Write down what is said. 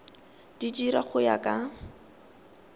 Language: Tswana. di dira go ya ka